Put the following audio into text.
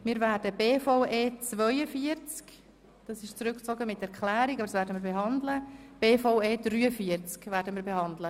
Wir werden bei den Vorstössen der BVE die Traktanden 42 und 43 behandeln.